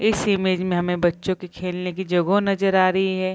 इस इमेज में हमे बच्चो की खेलने की जगो नजर आ रही है।